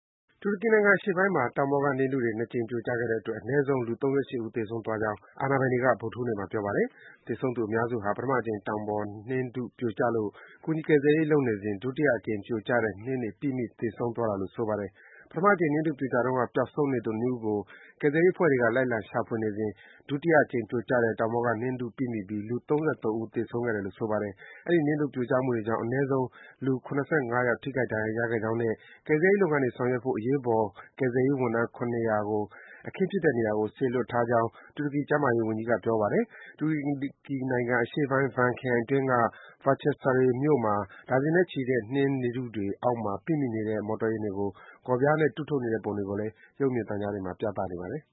တူရကီနိုင်ငံ အရှေ့ပိုင်းမှာ တောင်ပေါ်က နှင်းထုတွေ ၂ ကြိမ် ပြိုကျခဲ့တဲ့အတွက် အနည်းဆုံး လူ ၃၈ ဦး သေဆုံးသွားကြောင်း အာဏာပိုင်တွေက ဗုဒ္ဓဟူးနေ့မှာ ပြောပါတယ်။ သေဆုံးသူ အများစုဟာ ပထမအကြိမ် တောင်ပေါ်က နှင်းထုပြိုကျလို့ ကူညီကယ်ဆယ်ရေး လုပ်နေကြစဉ် ဒုတိယအကြိမ် ပြိုကျတဲ့ အဲဒီ နှင်းတွေ ပိမိ သေဆုံးသွားတာလို့ ဆိုပါတယ်။ ပထမအကြိမ် နှင်းထုပြိုကျတုန်းက ပျောက်ဆုံးနေသူ ၂ ဦးကို ကယ်ဆယ်ရေး အဖွဲ့တွေက လိုက်လံရှာဖွေနေစဉ် ဒုတိယအကြိမ်ပြိုကျတဲ့ တောင်ပေါ်ကနှင်းထု ပိမိပြီး လူ ၃၃ ဦး သေဆုံးခဲ့တယ်လို့ ဆိုပါတယ်။ အဲဒီ နှင်းထုပြိုကျမှုတွေကြောင့် အနည်းဆုံး လူ ၇၅ ယောက် ထိခိုက်ဒဏ်ရာ ရခဲ့ကြောင်းနဲ့ ကယ်ဆယ် ကူညီရေး လုပ်ငန်းတွေ ဆောင်ရွက်ဖို့ အရေးပေါ် ကယ်ဆယ်ရေး ဝန်ထမ်း ၇၀၀ ကို အခင်းဖြစ်တဲ့နေရာကို စေလွှတ်ထားကြောင်း တူရကီ ကျန်းမာရေးဝန်ကြီးက ပြောပါတယ်။ တူရကီနိုင်ငံအရှေ့ပိုင်း Van ခရိုင်အတွင်းက Bahcesaray မြို့မှာ ဒါဇင်နဲ့ချီတဲ့ လူတွေ နှင်းထုတွေအောက်မှာ ပိမိနေတဲ့ မော်တော်ယာဉ်တွေကို ဂေါ်ပြားတွေနဲ့ တူးထုတ်နေတဲ့ ပုံတွေကိုလည်း ရုပ်မြင်သံကြား သတင်းတွေမှာ ပြသနေပါတယ်